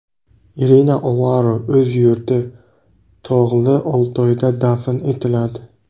Irina Olaru o‘z yurti, Tog‘li Oltoyda dafn etiladi.